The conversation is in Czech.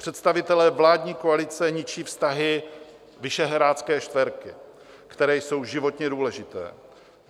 Představitelé vládní koalice ničí vztahy Visegrádské čtyřky, které jsou životně důležité.